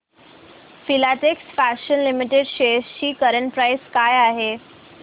Filatex fashions limited shares ची current price काय आहे